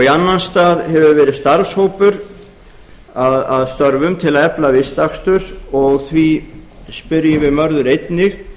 í annan stað hefur verið starfshópur að störfum til að efla vistakstur og því spyrjum við mörður einnig